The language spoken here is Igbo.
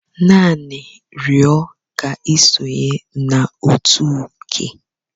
Naanị rịọ ka isonye na otu Uke.